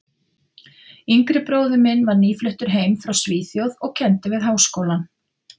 yngri bróðir minn var nýfluttur heim frá Svíþjóð og kenndi við Háskólann.